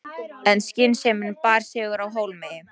En skynsemin bar sigur af hólmi.